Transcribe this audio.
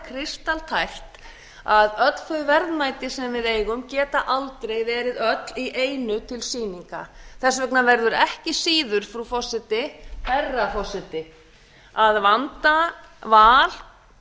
kristaltært að öll þau verðmæti sem við eigum geta aldrei verið öll í einu til sýninga þess vegna verður ekki síður herra forseti að vanda val